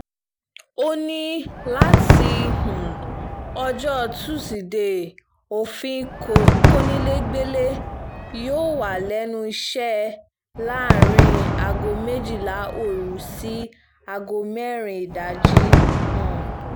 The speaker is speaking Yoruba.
ó ní láti um ọjọ́ tusidee òfin kọnilẹgbẹlẹ̀ yóò wà lẹ́nu iṣẹ́ láàrin aago méjìlá òru sí aago mẹ́rin ìdájí um